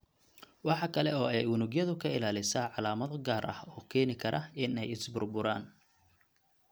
Waxa kale oo ay unugyada ka ilaalisaa calaamado gaar ah oo keeni kara in ay is-burburaan.